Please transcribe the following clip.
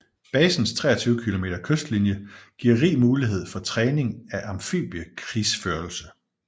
Basens 23 km kystlinje giver rig mulighed for træning af amfibiekrigsførelse